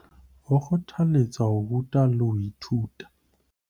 Ho kgothaletsa ho ruta le ho ithuta